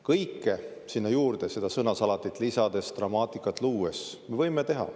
Kõike sinna juurde, seda sõnasalatit lisades, dramaatikat luues, me võime teha.